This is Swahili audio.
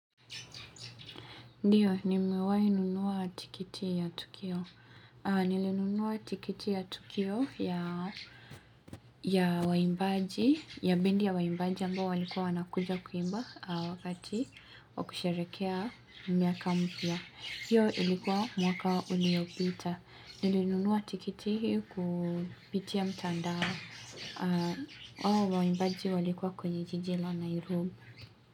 Ndiyo, niewai nunua tikiti ya tukio. Nilinunua tikiti ya tukio ya ya waimbaji, ya bendi ya waimbaji ambao walikuwa wanakuja kuimba wakati wakusherekea miaka mpya. Hiyo ilikuwa mwaka uliopita. Nilinunua tikiti kupitia mtandao, ao waimbaji walikuwa kwenye jiji la nairum.